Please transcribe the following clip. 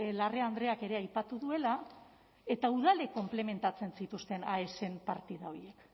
larrea andreak ere aipatu duela eta udalek konplementatzen zituzten aesen partida horiek